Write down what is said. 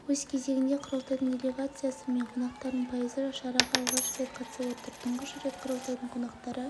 өз кезегінде құрылтайдың делегациясы мен қонақтарының пайызы шараға алғаш рет қатысып отыр тұңғыш рет құрылтайдың қонақтары